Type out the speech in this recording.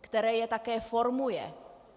které je také formuje?